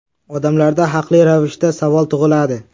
Odamlarda haqli ravishda savol tug‘iladi.